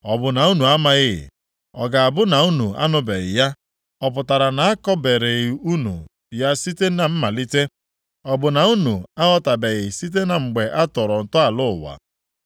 Ọ bụ na unu amaghị? Ọ ga-abụ na unu anụbeghị ya? Ọ pụtara na a kọbereghị unu ya site na mmalite? Ọ bụ na unu aghọtabeghị site na mgbe a tọrọ ntọala ụwa?